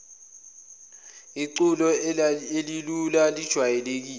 iculo elilula elijwayelekile